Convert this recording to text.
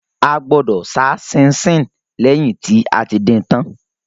A gbọdọ̀ sá síinsín lẹ́yìn tí a ti din tán